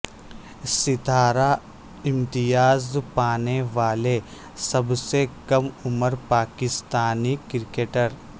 ستارہ امتیاز پانے والے سب سے کم عمر پاکستانی کرکٹر